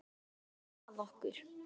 Hún sneri sér að okkur